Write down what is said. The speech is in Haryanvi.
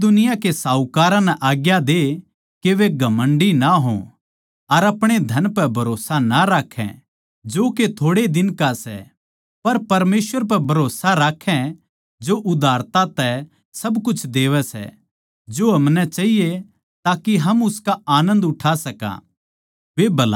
इस दुनिया के साहूकारां ताहीं आज्ञा दे के वे घमण्डी ना हों अर अपणे धन पै भरोस्सा ना राक्खै जो के थोड़ै ए दिन का सै पर परमेसवर पै भरोस्सा राक्खों जो उदारता तै सब कुछ देवै सै जो म्हारे ताहीं चाहिए ताके हम उसका आनन्द उठा सका